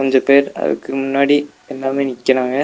கொஞ்ச பேர் அதுக்கு முன்னாடி எல்லாமே நிக்கிறாங்க.